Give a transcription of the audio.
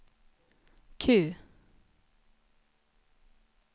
Q